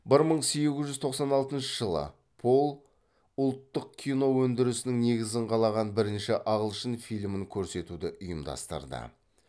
бір мың сегіз жүз тоқсан алтыншы жылы пол ұлттық кино өндірісінің негізін қалаған бірінші ағылшын фильмін көрсетуді ұйымдастырды